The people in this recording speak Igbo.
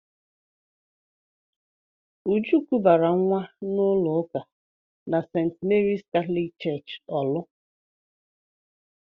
Uju kubara nwa n'ụlọ ụka na St. Mary's Catholic Church Orlu.